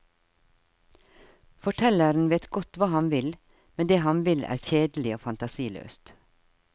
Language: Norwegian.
Fortelleren vet godt hva han vil, men det han vil er kjedelig og fantasiløst.